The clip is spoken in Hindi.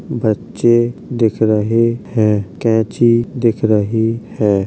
बच्चे दिख रहे हैं। कैची दिख रही है।